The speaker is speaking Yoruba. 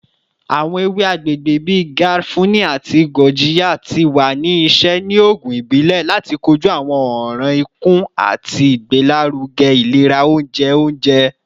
Awọn ewe agbegbe bii garafuni ati gurjiya ti wa ni iṣẹ ni oogun ibile lati koju awọn ọran ikun ati igbelaruge ilera ounjẹ ounjẹ.